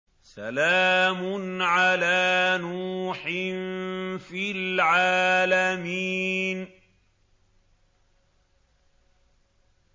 سَلَامٌ عَلَىٰ نُوحٍ فِي الْعَالَمِينَ